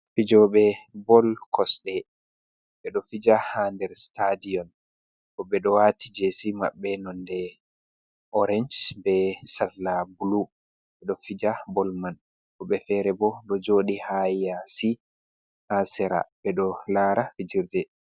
Fijo'be bol cosɗe ɓe do fija ha nder stadion, woɓɓe ɗo wa'ti jesi maɓɓe nonde orance be salla bulu, be ɗo fija bol man woɓɓe fere bo ɗo joɗi ha yasi ha sera ɓe ɗo lara fijirde.